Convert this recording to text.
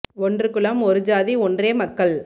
ஒன்று குலம் ஒரு ஜாதி ஒன்றே மக்கள்